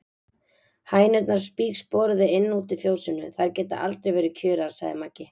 Hænurnar spígsporuðu inn og út í fjósinu, þær geta aldrei verið kjurar, sagði Maggi.